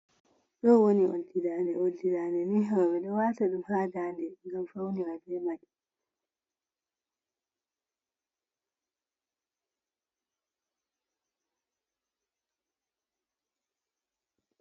Ɗo woni oldi daande. Oldi daande ni roɓe ɗo wata ɗum haa daande ɓeɗo faunira bei mai.